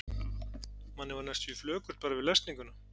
Manni varð næstum flökurt bara við lesninguna.